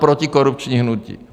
Protikorupční hnutí.